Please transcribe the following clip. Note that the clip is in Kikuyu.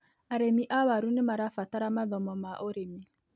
Arĩmi a waru nĩ marabatara mathomo ma ũrĩmi.